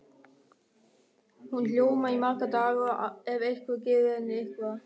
Hún ljómar í marga daga ef einhver gefur henni eitthvað.